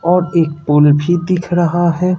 और एक पूल भी दिख रहा है।